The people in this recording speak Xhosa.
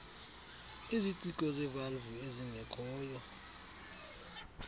iziciko zevalvu ezingekhoyo